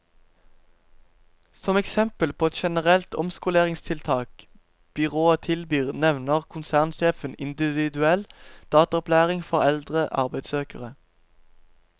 Som eksempel på et generelt omskoleringstiltak byrået tilbyr nevner konsernsjefen individuell dataopplæring for eldre arbeidssøkere.